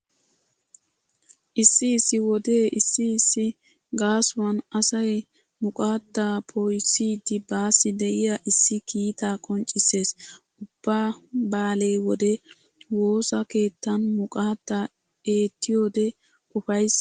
Issi issi wode issi issi gaasuwan asay muqaaddaa poo'issiiddi baassi diya issi kiitaa qonccissees. Ubba baale wode woosa keettan muqaadda eettiyode ufayssay worees.